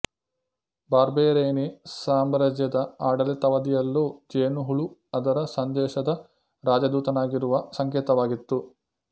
ಬಾರ್ಬೆರೆನೀ ಸಾಮ್ರಾಜ್ಯದ ಆಡಳಿತಾವಧಿಯಲ್ಲೂ ಜೇನುಹುಳು ಅದರ ಸಂದೇಶದ ರಾಜಧೂತನಾಗಿರುವ ಸಂಕೇತವಾಗಿತ್ತು